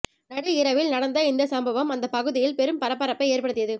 நடு இரவில் நடந்த இந்த சம்பவம் அந்த பகுதியில் பெரும் பரபரப்பை ஏற்படுத்தியது